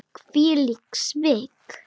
Hvílík svik!